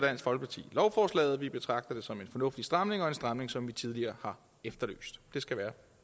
lovforslaget vi betragter det som en fornuftig stramning en stramning som vi tidligere har efterlyst det skal være